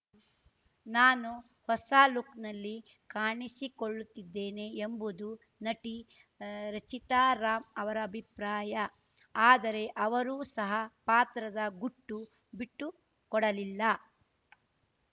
ನಾನು ಹೊಸ ಲುಕ್‌ನಲ್ಲಿ ಕಾಣಿಸಿಕೊಳ್ಳುತ್ತಿದ್ದೇನೆ ಎಂಬುದು ನಟಿ ರಚಿತಾ ರಾಮ್‌ ಅವರ ಅಭಿಪ್ರಾಯ ಆದರೆ ಅವರೂ ಸಹ ಪಾತ್ರದ ಗುಟ್ಟು ಬಿಟ್ಟು ಕೊಡಲಿಲ್ಲ